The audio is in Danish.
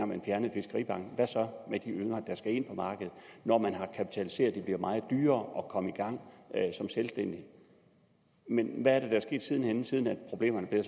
man fjernede fiskeribanken hvad så med de yngre der skal ind på markedet når man har kapitaliseret det bliver meget dyrere at komme i gang som selvstændig men hvad er der sket siden siden problemerne